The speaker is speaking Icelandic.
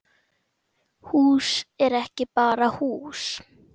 Hús er ekki bara hús